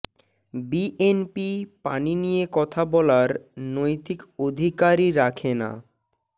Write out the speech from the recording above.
BNP পানি নিয়ে কথা বলার নৈতিক অধিকারই রাখে না